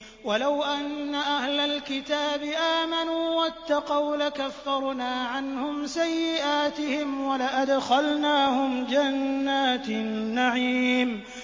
وَلَوْ أَنَّ أَهْلَ الْكِتَابِ آمَنُوا وَاتَّقَوْا لَكَفَّرْنَا عَنْهُمْ سَيِّئَاتِهِمْ وَلَأَدْخَلْنَاهُمْ جَنَّاتِ النَّعِيمِ